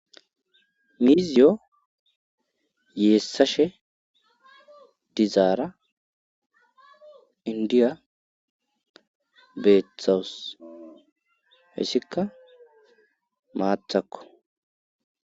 mizyo yeessashe dizaara inddiya beetawus.hessikka maathakko.